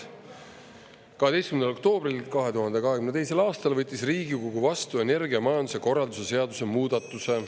12. oktoobril 2022. aastal võttis Riigikogu vastu energiamajanduse korralduse seaduse muudatuse.